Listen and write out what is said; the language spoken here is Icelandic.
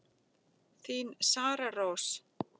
Þín Sara Rós.